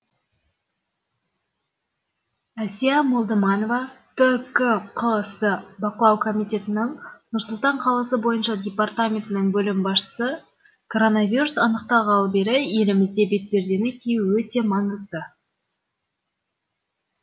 әсия молдыманова ткқс бақылау комитетінің нұр сұлтан қаласы бойынша департаментінің бөлім басшысы коронавирус анықталғалы бері елімізде бетпердені кию өте маңызды